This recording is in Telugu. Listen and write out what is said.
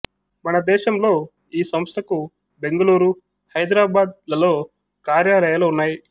మనదేశంలో ఈ సంస్థకు బెంగుళూరు హైదరాబాద్ లలో కార్యాలయాలు ఉన్నాయి